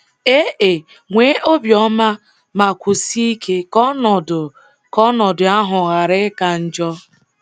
Ee, nwee obiọma ma kwụsie ike ka ọnọdụ ka ọnọdụ ahụ ghara ịka njọ.